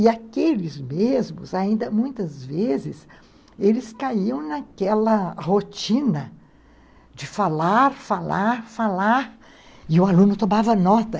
E aqueles mesmos, ainda muitas vezes, eles caíam naquela rotina de falar, falar, falar, e o aluno tomava nota.